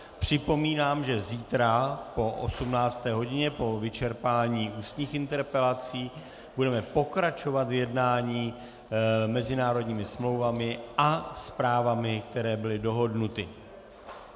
Připomínám, že zítra po 18. hodině po vyčerpání ústních interpelací budeme pokračovat v jednání mezinárodními smlouvami a zprávami, které byly dohodnuty.